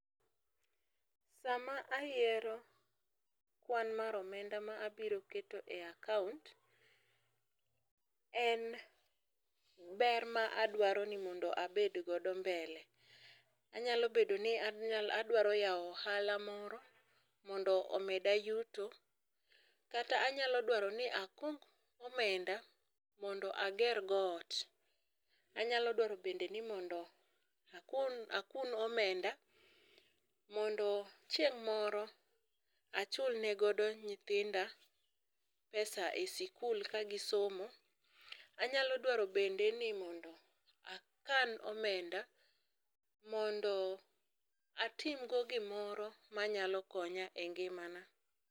sama ayiero kwan mar omenda ma abiro keto e akaunt en ber ma adwaro mondo abed godo mbele. Anyalo bedo ni anyalo, adwaro yao ohala moro mondo omeda yuto kata anyalo dwaro ni akung omenda mondo ager go ot, anyalo dwaro bende ni mondo akun akun omenda mondo chieng moro achulne godo nyithinda pesa e sikul ka gisomo, anyalo dwaro bende ni akan omenda mondo atim go gimoro manyalo konya e ngimana